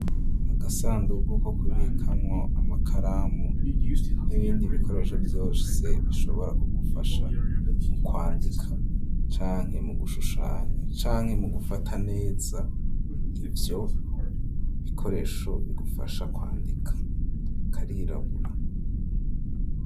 Agasandugu ko ku bikamwo amakaramu n'ibindi bikoresho vyose bishobora ku gufasha mu kwandika canke mu gushushanya canke mu gufata neza ivyo bikoresho bigufasha kwandika karirabura.